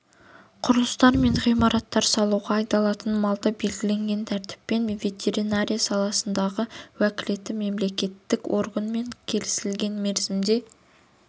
құрылыстар мен ғимараттар салуға айдалатын малды белгіленген тәртіппен ветеринария саласындағы уәкілетті мемлекеттік органмен келісілген мерзімдерде